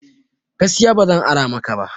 Gaskiya ba zan ara maka ba